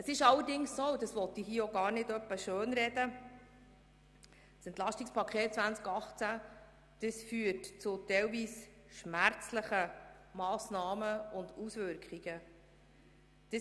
Es ist allerdings so – und ich will das auch nicht schönreden –, dass das EP 2018 zu teilweise schmerzlichen Massnahmen und Auswirkungen führt.